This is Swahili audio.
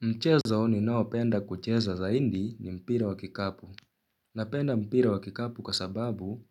Mchezo ninao penda kucheza zaidi ni mpira wa kikapu. Napenda mpira wa kikapu kasababu